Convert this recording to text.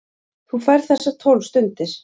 Þú færð þessar tólf stundir.